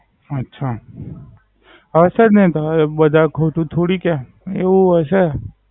સાત સાત, હશે જ ને બધા કઈ ખોટું થોડી કે. એવું હોય છે